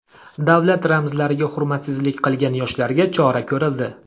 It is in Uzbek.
Davlat ramzlariga hurmatsizlik qilgan yoshlarga chora ko‘rildi.